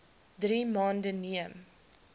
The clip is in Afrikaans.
drie maande neem